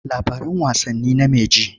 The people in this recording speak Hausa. Labaran wasanni name ji.